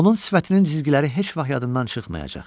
Onun sifətinin cizgiləri heç vaxt yadımdan çıxmayacaq.